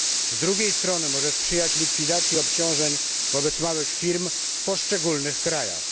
Z drugiej strony, może sprzyjać likwidacji obciążeń wobec małych firm w poszczególnych krajach.